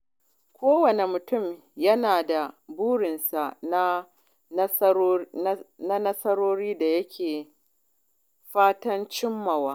Kowane mutum yana da burinsa da nasarorin da yake fatan cimmawa.